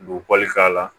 Buguli k'a la